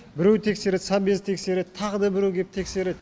біреу тексереді совбез тексереді тағы да біреу кеп тексереді